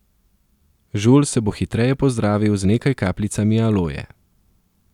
Žulj se bo hitreje pozdravil z nekaj kapljicami aloje.